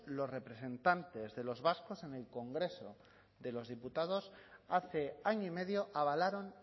los representantes de los vascos en el congreso de los diputados hace año y medio avalaron